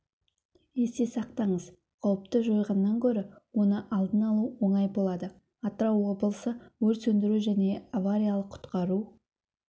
есте сақтаңыз қауіпті жойғаннан гөрі оны алдын алу оңай болады атырау облысы өрт сөндіру және авариялық-құтқару